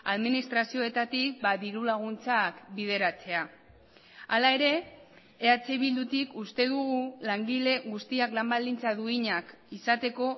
administrazioetatik diru laguntzak bideratzea hala ere eh bildutik uste dugu langile guztiak lan baldintza duinak izateko